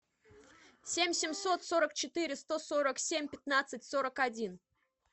семь семьсот сорок четыре сто сорок семь пятнадцать сорок один